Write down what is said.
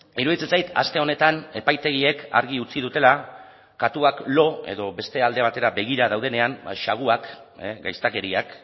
iruditzen zait aste honetan epaitegiek argi utzi dutela katuak lo edo beste alde batera begira daudenean xaguak gaiztakeriak